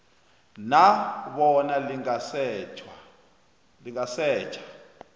na bona lingasetjha